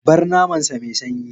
Bar naman sa mai sanyi!